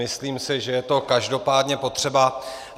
Myslím si, že je to každopádně potřeba.